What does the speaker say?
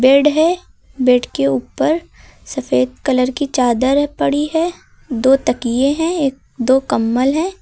Bed है। Bed के ऊपर सफेद कलर की चादर है पड़ी है। दो तकिए हैं एक दो कंबल हैं।